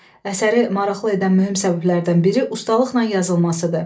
Əsəri maraqlı edən mühüm səbəblərdən biri ustalıqla yazılmasıdır.